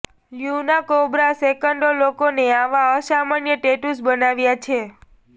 Luna Cobra સેંકડો લોકોને આવા અસામાન્ય ટેટૂઝ બનાવ્યા છે